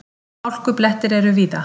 Hálkublettir eru víða